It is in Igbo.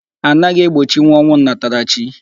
Anaghị egbochinwu ọnwụ nnatarachi.